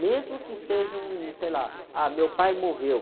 Mesmo que seja um, sei lá, ah, meu pai morreu.